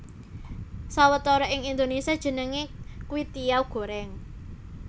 Sawetara ing Indonesia jenenge kwetiau goreng